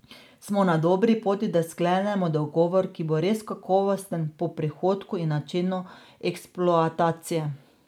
Smo na dobri poti, da sklenemo dogovor, ki bo res kakovosten po prihodku in načinu eksploatacije.